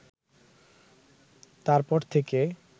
তারপর থেকে